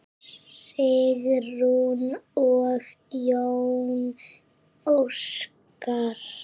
Sigrún og Jón Óskar.